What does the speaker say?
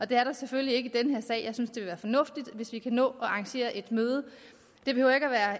det er der selvfølgelig ikke i den her sag jeg synes det vil fornuftigt hvis vi kan nå at arrangere et møde